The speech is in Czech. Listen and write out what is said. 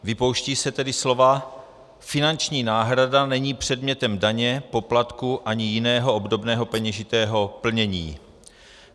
Vypouštějí se tedy slova "finanční náhrada není předmětem daně, poplatku ani jiného obdobného peněžitého plnění".